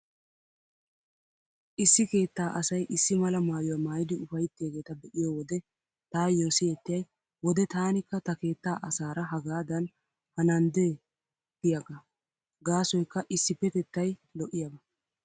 Issi keettaa asay issi mala maayuwaa maayidi ufayttiyaageeta be'iyo wode taayyo siyettiyay wode taanikka ta keettaa asaara hagaadan hananddee giyaagaa. Gaasoykka issippetettay lo'iyaaba.